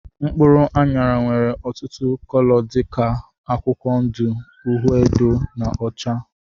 Mkpụrụ anyara nwere ọtụtụ cóló dika akwụkwọ ndụ, uhiedo na ọcha.